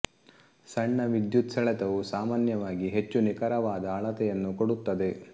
ಸಣ್ಣ ವಿದ್ಯುತ್ ಸೆಳೆತವು ಸಾಮಾನ್ಯವಾಗಿ ಹೆಚ್ಚು ನಿಖರವಾದ ಅಳತೆಯನ್ನು ಕೊಡುತ್ತದೆ